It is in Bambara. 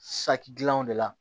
Saki dilanw de la